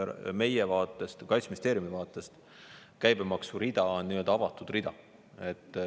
Meie vaatest, Kaitseministeeriumi vaatest käibemaksurida on nii-öelda avatud rida.